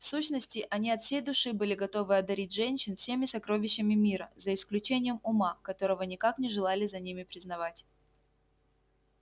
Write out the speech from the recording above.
в сущности они от всей души были готовы одарить женщин всеми сокровищами мира за исключением ума которого никак не желали за ними признавать